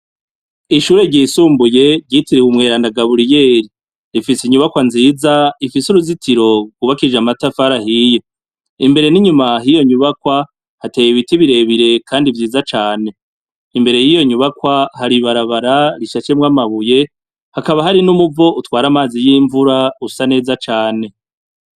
Ishure ryisumbuye ryitiriwe umweranda Gaburiyeri, ifise inyubakwa nziza ifise uruzitiro rwubakishije amatafari ahiye, imbere n'inyuma hoyo nyubakwa hateye ibiti birebire kandi vyiza cane, imbere y'iyo nyubakwa hari ibara rishashwemwo amabuye, hakaba hariho n'umuvo utwara amazi y'imvura usa neza cane.